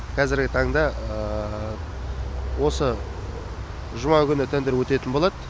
кәзіргі таңда осы жұма күні тендер өтетін болады